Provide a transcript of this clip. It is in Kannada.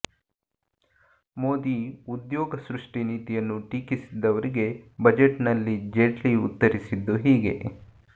ಮೋದಿ ಉದ್ಯೋಗ ಸೃಷ್ಟಿ ನೀತಿಯನ್ನು ಟೀಕಿಸಿದವರಿಗೆ ಬಜೆಟ್ನಲ್ಲಿ ಜೇಟ್ಲಿ ಉತ್ತರಿಸಿದ್ದು ಹೀಗೆ